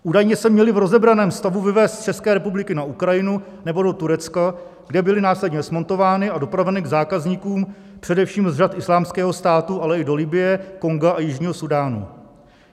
Údajně se měly v rozebraném stavu vyvézt z České republiky na Ukrajinu nebo do Turecka, kde byly následně smontovány a dopraveny k zákazníkům především z řad Islámského státu, ale i do Libye, Konga a Jižního Súdánu.